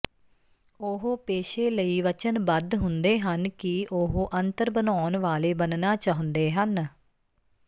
ਉਹ ਪੇਸ਼ੇ ਲਈ ਵਚਨਬੱਧ ਹੁੰਦੇ ਹਨ ਕਿ ਉਹ ਅੰਤਰ ਬਣਾਉਣ ਵਾਲੇ ਬਣਨਾ ਚਾਹੁੰਦੇ ਹਨ